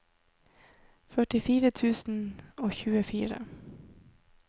førtifire tusen og tjuefire